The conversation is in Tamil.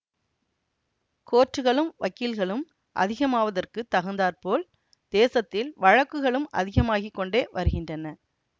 கோர்ட்டுகளும் வக்கீல்களும் அதிகமாவதற்குத் தகுந்தாற்போல் தேசத்தில் வழக்குகளும் அதிகமாகி கொண்டே வருகின்றன